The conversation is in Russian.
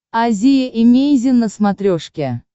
азия эмейзин на смотрешке